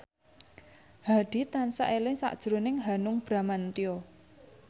Hadi tansah eling sakjroning Hanung Bramantyo